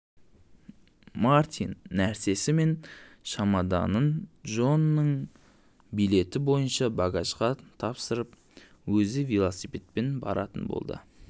мартин нәрсесі мен шамаданын джонның билеті бойынша багажға тапсырып өзі велосипедпен баратын болды